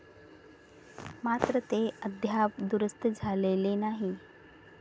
मात्र, ते अद्याप दुरुस्त झालेले नाही.